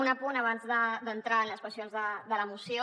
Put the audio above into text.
un apunt abans d’entrar en les qüestions de la moció